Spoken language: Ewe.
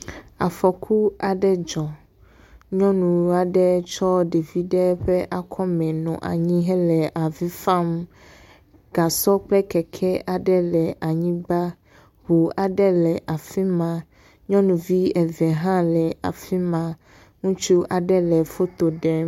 Afɔku aɖe dzɔ. Nyɔnu aɖe tsyɔ ɖevi ɖe ƒe akɔme nɔ anvi hele fam. Gasɔ kple keke aɖe le an yigba. Ŋu aɖe le afi ma. Nyɔnuvi eve hã le afi ma. Ŋutsu aɖe le foto ɖem.